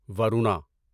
Varuna